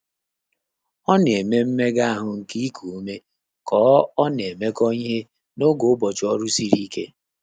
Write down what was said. Ọ́ nà-émé mméga áhụ́ nké íkù úmé kà ọ́ ọ́ nà-émékọ́ íhé n’ógè ụ́bọ̀chị̀ ọ́rụ́ sìrì íké.